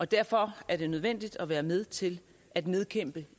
derfor er det nødvendigt at være med til at nedkæmpe